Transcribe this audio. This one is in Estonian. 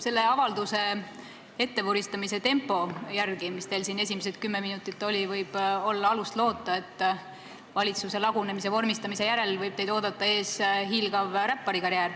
Selle avalduse ettevuristamise tempo järgi, nagu siin esimesed kümme minutit oli, võib olla alust loota, et valitsuse lagunemise vormistamise järel võib teid oodata ees hiilgav räpparikarjäär.